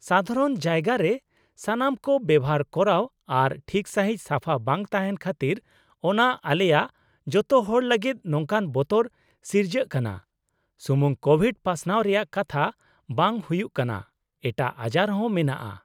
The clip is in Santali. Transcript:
ᱥᱟᱫᱷᱟᱨᱚᱱ ᱡᱟᱭᱜᱟ ᱨᱮ ᱥᱟᱱᱟᱢ ᱠᱚ ᱵᱮᱣᱦᱟᱨ ᱠᱚᱨᱟᱣ ᱟᱨ ᱴᱷᱤᱠ ᱥᱟᱺᱦᱤᱡ ᱥᱟᱯᱷᱟ ᱵᱟᱝ ᱛᱟᱦᱮᱸᱱ ᱠᱷᱟᱹᱛᱤᱨ ᱚᱱᱟ ᱟᱞᱮᱭᱟᱜ ᱡᱚᱛᱚ ᱦᱚᱲ ᱞᱟᱹᱜᱤᱫ ᱱᱚᱝᱠᱟᱱ ᱵᱚᱛᱚᱨ ᱥᱤᱨᱡᱟᱹᱜ ᱠᱟᱱᱟ, ᱥᱩᱢᱩᱝ ᱠᱳᱵᱷᱤᱰ ᱯᱟᱥᱱᱟᱣ ᱨᱮᱭᱟᱜ ᱠᱟᱛᱷᱟ ᱵᱟᱝ ᱦᱩᱭᱩᱜ ᱠᱟᱱᱟ, ᱮᱴᱟᱜ ᱟᱡᱟᱨ ᱦᱚᱸ ᱢᱮᱱᱟᱜᱼᱟ ᱾